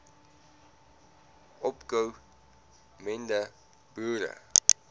opko mende boere